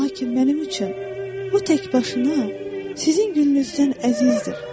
Lakin mənim üçün bu tək başına sizin gülünüzdən əzizdir.